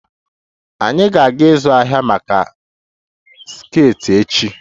Anyị ga-aga ịzụ ahịa maka skirts echi